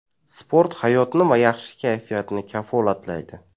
Sport hayotni va yaxshi kayfiyatni kafolatlaydi.